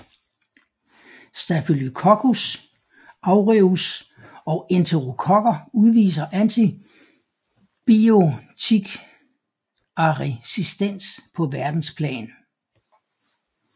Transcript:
Staphylococcus aureus og enterokokker udviser antibiotikaresistens på verdensplan